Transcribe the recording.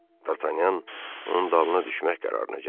D'Artagnan onun dalına düşmək qərarına gəldi.